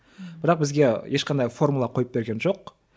бірақ бізге ешқандай формула қойып берген жоқ